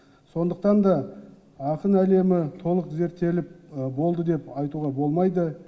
сондықтан да ақын әлемі толық зерттеліп болды деп айтуға болмайды